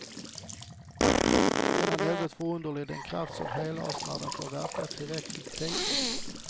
Den är något förunderligt, den kraft som helar oss när den får verka tillräcklig tid.